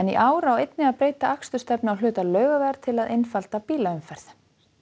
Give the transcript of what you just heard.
í ár á einnig að breyta akstursstefnu á hluta Laugavegar til að einfalda bílaumferð